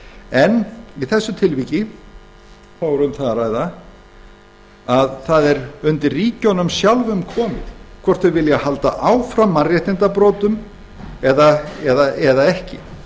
en í þessu tilviki er um það að ræða að það er undir ríkjunum sjálfum komið hvort þau vilja halda áfram að brjóta mannréttindi eða ekki